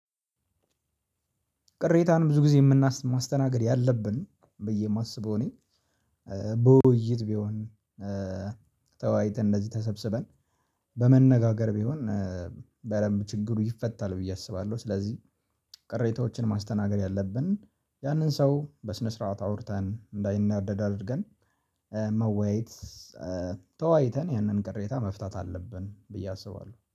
ቅሬታን ብዙ ጊዜ ማስተናግድ ያለብን ብዬ የማስበው እኔ በውይይት ቢሆን ተዋይተን እንደዚህ ተሰብስበን በመነጋገር ቢሆን በደንብ ችግሩ ይፈታል ብዬ አስባለሁ። ስለዚህ ቅሬታዎችን ማስተናገድ ያለብን ያንን ሰው በስነ ስርዓት አውርተን እንዳይናደድ አድርገን መወያየት ተዋይተን ያንን ቅሬታ መፍታት አለብን ብዬ አስባለሁ